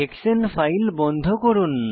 হেক্সানে file বন্ধ করুন